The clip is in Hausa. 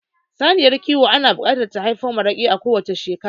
Saniyar kiwa ana buƙatar ta haifo maraƙi a kowacce shekara